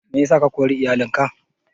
Meyasa ka kori iyalin ka?